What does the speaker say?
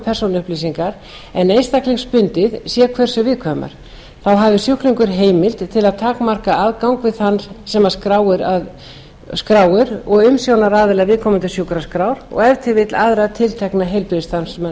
persónuupplýsingar en einstaklingsbundið sé hversu viðkvæmar þá hafi sjúklingur heimild til að takmarka aðgang við þann sem skráir og umsjónaraðila viðkomandi sjúkraskrár og ef til vill aðra tiltekna heilbrigðisstarfsmenn